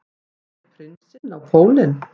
Fer prinsinn á pólinn